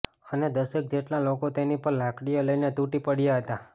અને દસેક જેટલા લોકો તેની પર લાકડીઓ લઈને તૂટી પડ્યા હતા